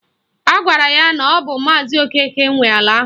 Agwara ya na ọ bụ maazi Okeke nwe ala ahụ